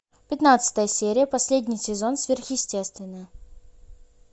пятнадцатая серия последний сезон сверхъестественное